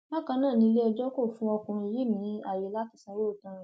bákan náà ni iléẹjọ kò fún ọkùnrin yìí ní ààyè láti sanwó ìtanràn